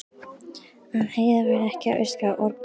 Að Heiða væri ekki að öskra og orga.